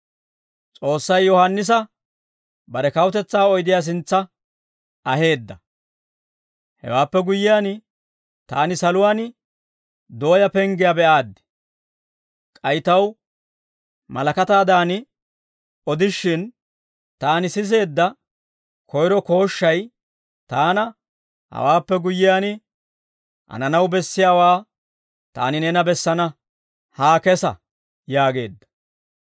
Hewaappe guyyiyaan, taani saluwaan dooyaa penggiyaa be'aaddi; k'ay taw malakataadan odishin, taani siseedda koyro kooshshay taana; «Hawaappe guyyiyaan, hananaw bessiyaawaa taani neena bessana; haa kesa» yaageedda.